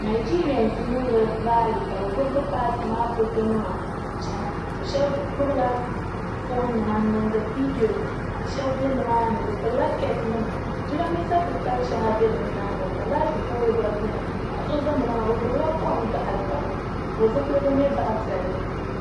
najɛriyɛns n niŋdi raali ka bi gbubi bi paati maa foto nima n chɛna shab gbubila foon nima n niŋdi viidiyos shab bɛ nimaaani bi pilila keep nima jiranbiisa titali shɛŋa bɛ bi nyaanga ka laati pool gba biɛni paɣa so ʒɛ nimaani o gbubila kom gaɣali ka o zipiligu nyɛ zaɣ piɛlli